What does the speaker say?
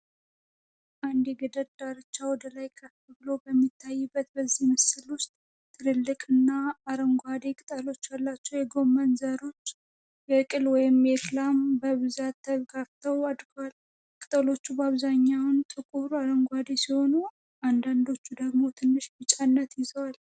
አንድ የገደል ዳርቻ ወደ ላይ ከፍ ብሎ በሚታይበት በዚህ ምስል ውስጥ፣ ትልልቅና አረንጓዴ ቅጠሎች ያሏቸው የጎመን ዘሮች (የቅል ወይም የክላም) በብዛት ተጋፍተው አድገዋል። ቅጠሎቹ በአብዛኛው ጥቁር አረንጓዴ ሲሆኑ፣ አንዳንዶቹ ደግሞ ትንሽ ቢጫነት ይዘዋል።